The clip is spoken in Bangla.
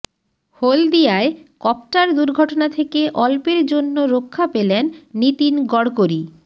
হলদিয়ায় কপ্টার দুর্ঘটনা থেকে অল্পের জন্য রক্ষা পেলেন নীতিন গড়করি